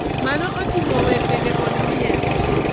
Mano oting’o bende wer kod miel.